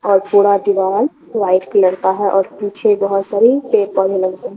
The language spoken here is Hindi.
और थोड़ा दीवाल व्हाइट कलर का है और पीछे बहुत सारे पेड़ पौधे लगे हैं।